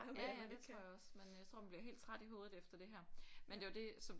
Ja ja ja det tror jeg også men jeg tror man bliver helt træt i hovedet efter det her men det var det som